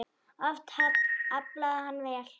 Oft aflaði hann vel.